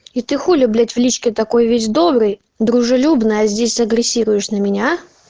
и ты хули блять в личке такой весь добрый дружелюбный здесь агрессируешь на меня а